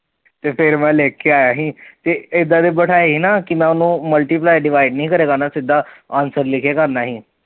ਤੇ ਫਿਰ ਮੈਂ ਲਿਖ ਕੇ ਆਇਆ ਸੀ, ਤੇ ਇੱਦਾਂ ਦੇ ਬਿਠਾਏ ਸੀ ਨਾ ਕਿ ਮੈਂ ਓਹਨੂੰ multiply divide ਨਹੀਂ ਕਰ ਕੇ ਕਰਨਾ ਸਿੱਦਾ answer ਲਿਖ ਕੇ ਕਰਨਾ ਸੀ